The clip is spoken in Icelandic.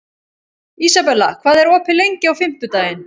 Ísabella, hvað er opið lengi á fimmtudaginn?